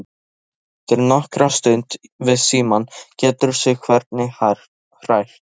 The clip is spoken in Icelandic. Svenni situr nokkra stund við símann, getur sig hvergi hrært.